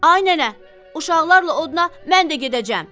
Ay nənə, uşaqlarla oduna mən də gedəcəm.